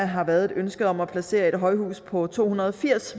har været et ønske om at placere et højhus på to hundrede og firs